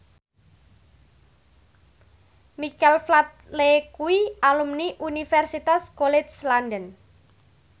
Michael Flatley kuwi alumni Universitas College London